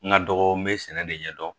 N ka dɔgɔ n be sɛnɛ de ɲɛdɔn